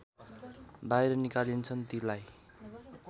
बाहिर निकालिन्छन् तीलाई